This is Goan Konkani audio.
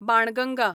बाणगंगा